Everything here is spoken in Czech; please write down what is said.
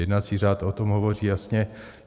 Jednací řád o tom hovoří jasně.